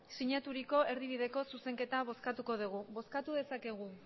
sinaturiko erdibideko zuzenketa bozkatuko dugu emandako